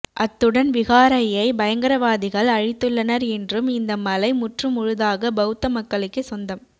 அத்துடன் விகாரையை பயங்கரவாதிகள் அழித்துள்ளனர் என்றும் இந்த மலை முற்றுமுழுதாக பௌத்த மக்களுக்கே சொந்தம்